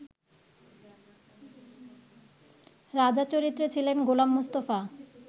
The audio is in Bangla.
রাজা চরিত্রে ছিলেন গোলাম মুস্তাফা